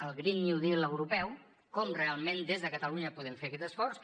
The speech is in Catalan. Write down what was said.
al green new deal europeu com realment des de catalunya podem fer aquest esforç